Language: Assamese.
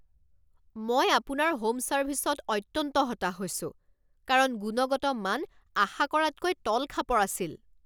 মই আপোনাৰ হোম ছাৰ্ভিছত অত্যন্ত হতাশ হৈছো কাৰণ গুণগত মান আশা কৰাতকৈ তলখাপৰ আছিল।